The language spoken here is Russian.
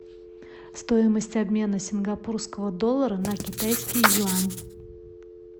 стоимость обмена сингапурского доллара на китайский юань